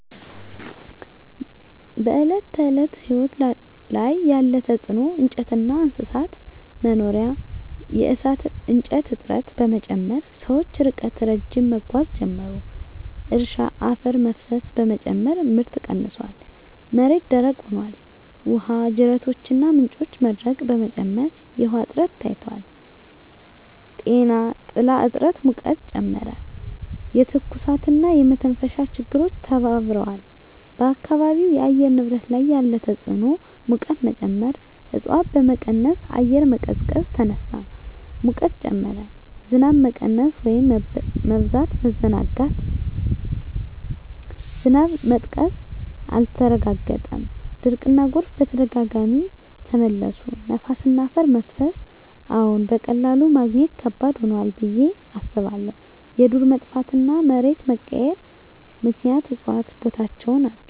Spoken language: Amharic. በዕለት ተዕለት ሕይወት ላይ ያለ ተጽዕኖ እንጨትና እንስሳት መኖሪያ የእሳት እንጨት እጥረት በመጨመር ሰዎች ርቀት ረዥም መጓዝ ጀመሩ። እርሻ አፈር መፍሰስ በመጨመር ምርት ቀንሷል፣ መሬት ደረቅ ሆኗል። ውሃ ጅረቶችና ምንጮች መድረቅ በመጨመር የውሃ እጥረት ታይቷል። ጤና ጥላ እጥረት ሙቀትን ጨመረ፣ የትኩሳትና የመተንፈሻ ችግሮች ተባብረዋል። በአካባቢው የአየር ንብረት ላይ ያለ ተጽዕኖ ሙቀት መጨመር እፅዋት በመቀነስ አየር መቀዝቀዝ ተነሳ፣ ሙቀት ጨመረ። ዝናብ መቀነስ/መበዛት መዘናጋት ዝናብ መጥቀስ አልተረጋገጠም፣ ድርቅና ጎርፍ በተደጋጋሚ ተመለሱ። ነፋስና አፈር መፍሰስ አዎን፣ በቀላሉ ማግኘት ከባድ ሆኗል ብዬ አስባለሁ። የዱር መጥፋትና መሬት መቀየር ምክንያት እፅዋት ቦታቸውን አጡ።